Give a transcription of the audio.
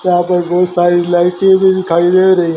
यहां पे बहुत सारी लाइटें भी दिखाई दे रही है।